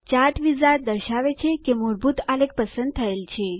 chart wizard દર્શાવે છે કે મૂળભૂત આલેખ પસંદ થયેલ છે